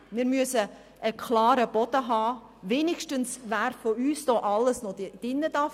Wir müssen eine klare Grundlage haben, um wenigstens zu wissen, wer von uns hier drin bleiben darf.